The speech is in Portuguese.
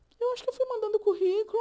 Eu acho que eu fui mandando o currículo